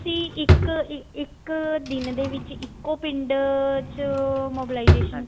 ਤੁਸੀਂ ਇੱਕ ਇੱਕ ਦਿਨ ਦੇ ਵਿੱਚ ਇੱਕੋ ਪਿੰਡ ਚ mobilization